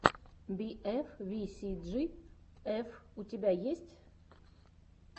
би эф ви си джи эф у тебя есть